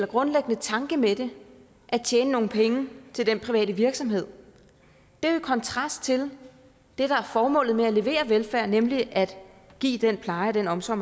grundlæggende tanke med det at tjene nogle penge til den private virksomhed det er i kontrast til det der er formålet med at levere velfærd nemlig at give den pleje og den omsorg